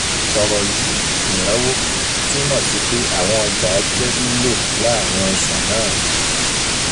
Ọ̀rọ̀ yíì "ìnáwó" túmọ̀ sí pé àwọn ọjà á jẹ́ lílò láàárín oṣù náà